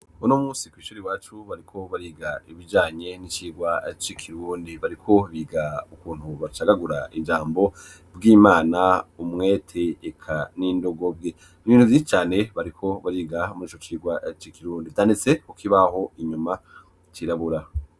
Uno munsi kw'ishuri wacu bariko bariga ibijanye n'icyigwa cikirundi bariko biga ukuntu bacagagura ijambo bw'imana umwete eka n'indogo bwe ibintu bzi cyane bariko bariga murico cigwa cikirundi itanitseko kibaho inyuma cirabura.